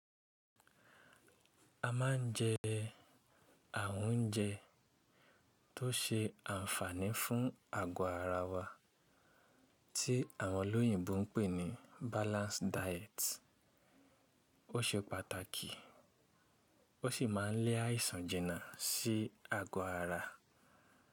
A ma ń jẹ àwọn oúnjẹ tó ṣe àǹfààní fún ago ara wa tí àwọn olóyìnbó ń pè ní balanced diet. Ó ṣe pàtàkì, ó sì máa ń lẹ́ àìsàn jinà sí ago ara.